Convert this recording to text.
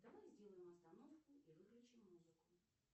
давай сделаем остановку и выключим музыку